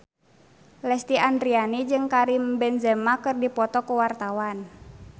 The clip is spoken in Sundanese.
Lesti Andryani jeung Karim Benzema keur dipoto ku wartawan